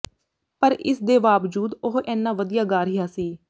ਪਰ ਇਸ ਦੇ ਵਾਬਜੂਦ ਉਹ ਐਨਾ ਵਧੀਆਂ ਗਾ ਰਿਹਾ ਸੀ